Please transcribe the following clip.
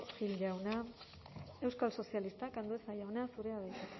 gil jauna euskal sozialistak andueza jauna zurea da hitza